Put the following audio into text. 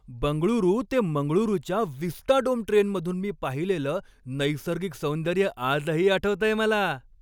बंगळुरू ते मंगळुरूच्या विस्टाडोम ट्रेनमधून मी पाहिलेलं नैसर्गिक सौंदर्य आजही आठवतंय मला.